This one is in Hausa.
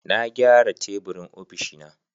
Na gyara teburin ofishina